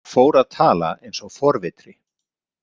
Fór að tala eins og forvitri.